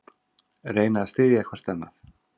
Reyna að styðja hvert annað